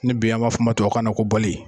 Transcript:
Bi an b'a fɔ o ma tunabu kanna ko pali.